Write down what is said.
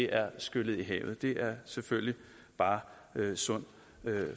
er skyllet i havet det er selvfølgelig bare sund